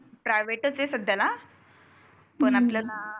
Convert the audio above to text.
Private च आहे सध्याला. पण आतलं ना.